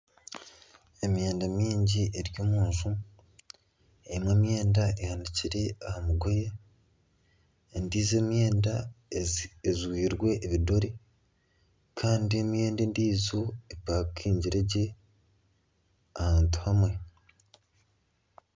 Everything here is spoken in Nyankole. Emyenda mingi eri omunju. Emwe emyenda ehanikire aha migoye, endiijo emyenda ejwirwe ebidore kandi emyenda endiijo epakingire gye ahantu hamwe.